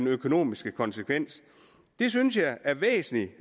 økonomiske konsekvenser det synes jeg er væsentligt